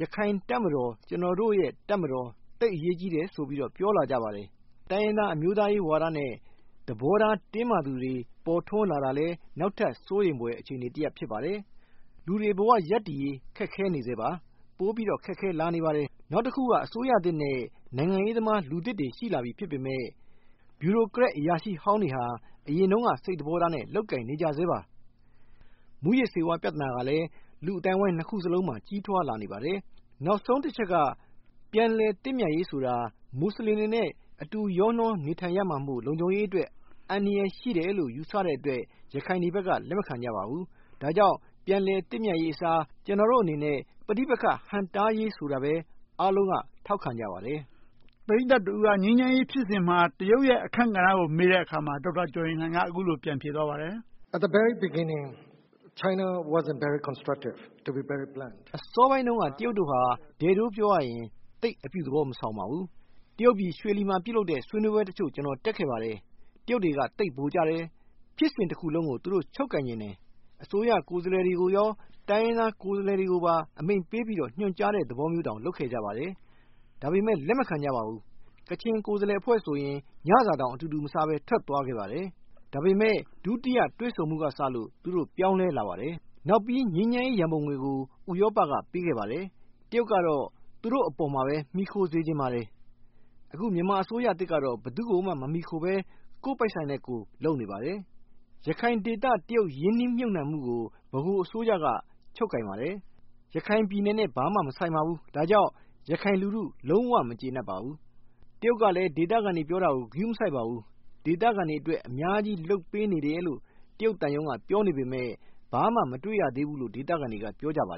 ရခိုင်တပ်မတော် - ကျနော်တို့ရဲ့တပ်မတော် သိပ်အရေးကြီးတယ်ဆိုပြီး ပြောလာကြပါတယ်။ တိုင်းရင်းသားအမျိုးသားရေးဝါဒနဲ့ သဘောထားတင်းမာသူတွေ ပေါ်ထွန်းလာတာလည်း နောက်ထပ်စိုးရိမ်ဖွယ် အခြေအနေတရပ် ဖြစ်ပါတယ်။ လူတွေဘဝ ရပ်တည်ရေး ခက်ခဲနေဆဲပါ။ ပိုပြီးတော့ ခက်ခဲ လာနေပါတယ်။ နောက်တခုက အစိုးရသစ်နဲ့ နိုင်ငံရေးသမား လူသစ်တွေ ရှိလာပြီ ဖြစ်ပေမယ့် ဗျူရိုကရက်အရာရှိဟောင်းတွေဟာ အရင် တုန်းက စိတ်သဘောထားနဲ့ လုပ်ကိုင်နေကြဆဲပါ။ မူးယစ်ဆေးဝါး ပြဿနာကလည်း လူ့အသိုင်းအဝိုင်းနှစ်ခုစလုံးမှာ ကြီးထွားလာနေပါတယ်။ နောက်ဆုံးတချက်က ပြန်လည်သင့်မြတ်ရေးဆိုတာ မွတ်ဆလင်တွေနဲ့ အတူရောနှောနေထိုင်ရမှာမို့ လုံခြုံရေးအတွက် အန္တရာယ်ရှိတယ်လို့ ယူဆတဲ့အတွက် ရခိုင်တွေဘက်က လက်မခံကြပါဘူး။ ဒါကြောင့် ပြန်လည်သင့်မြတ်ရေးအစား ကျနော်တို့အနေနဲ့ ပဋိပက္ခဟန့်တားရေး ဆိုတာပဲ အားလုံးက ထောက်ခံကြပါတယ်။ ဦးကျော်ဇံသာ ။ ။ ပရိသတ်တဦးက ငြိမ်းချမ်းရေးဖြစ်စဉ်မှာ တရုတ်ရဲ့ အခန်းကဏ္ဍကို မေးကြည့်တဲ့အခါ ဒေါက်တာကျော်ရင်လှိုင်က အခုလို ပြန်ဖြေသွားပါတယ်။ ဒေါက်တာကျော်ရင်လှိုင် ။ ။ အစောပိုင်းတုန်းက တရုတ်တို့ဟာ ဒဲ့ဒိုးပြောရရင် သိပ်အပြုသဘောမဆောင်ပါဘူး။ တရုတ်ပြည် ရွှေလီမှာ ပြုလုပ်တဲ့ ဆွေးနွေးပွဲတချို့ ကျနော်တက်ခဲ့ပါတယ်။ တရုတ်တွေက သိပ်ဗိုလ်ကျတယ်။ ဖြစ်စဉ်တခုလုံးကို သူတို့ချုပ်ကိုင်ချင်တယ်။ အစိုးရ ကိုယ်စားလှယ်တွေကိုရော တိုင်းရင်းသားကိုယ်စားလှယ်တွေကို အမိန့်ပေးပြီး ညွှန်ကြားတဲ့သဘောမျိုးတောင် လုပ်ခဲ့ကြပါတယ်။ ဒါပေမယ့် လက်မခံကြပါဘူး။ ကချင်ကိုယ်စားလှယ်အဖွဲ့ဆိုရင် ညစာတောင် အတူတူမစားဘဲ ထွက်သွားခဲ့ပါတယ်။ ဒါပေမယ့် ဒုတိယတွေ့ဆုံမှုကစလို့ သူတို့ ပြောင်းလဲလာပါတယ်။ နောက်ပြီး ငြိမ်းချမ်းရေးရန်ပုံငွေကို ဥရောပကပေးခဲ့ပါတယ်။ တရုတ်ကတော့ သူတို့အပေါ်မှာပဲ မှီခိုစေချင်ပါ တယ်။ အခု မြန်မာအစိုးရသစ်ကတော့ ဘယ်သူကိုမှ မမှီခိုဘဲ ကိုယ့်ပိုက်ဆံနဲ့ကိုယ် လုပ်နေပါတယ်။ ရခိုင်ဒေသ တရုတ်ရင်းနှီးမြှုပ်နံှမှုကို ဗဟိုအစိုးရက ချုပ်ကိုင်ပါတယ်။ ရခိုင်ပြည်နယ်နဲ့ ဘာမှမဆိုင်ပါဘူး။ ဒါကြောင့် ရခိုင်လူထု လုံးဝမကျေနပ်ပါဘူး။ တရုတ်ကလည်း ဒေသခံတွေ ပြောတာကို ဂရုမစိုက်ပါဘူး။ ဒေသခံတွေအတွက် အများကြီး လုပ်ပေးနေတယ်လို့ တရုတ်သံရုံးက ပြောနေပေမယ့် ဘာမှ မတွေ့ရသေးဘူးလို့ ဒေသခံတွေက ပြောကြပါ